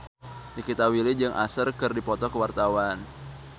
Nikita Willy jeung Usher keur dipoto ku wartawan